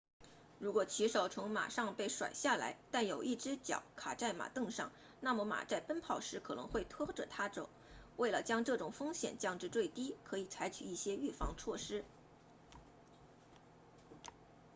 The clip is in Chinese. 如果骑手从马上被甩下来但有一只脚卡在马镫上那么马在奔跑时可能会拖着他走为了将这种风险降至最低可以采取一些预防措施